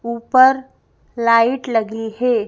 ऊपर लाइट लगी है।